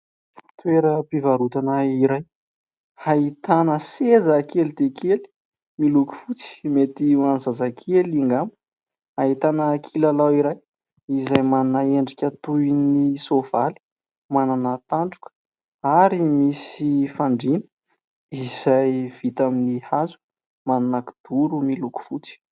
Teorampivarotana iray ahitana seza kely dia kely miloko fotsy, mety ho an'ny zazakely angamba. Ahitana kilalao iray izay toy ny endrika soavaly manana tandroka ary msiy fandriana izay vita amin'ny hazo izay misy kidoro miloko fotsy.